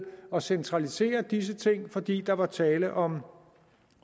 at centralisere disse ting fordi der var tale om